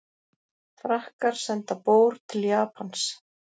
Frakkar senda bór til Japans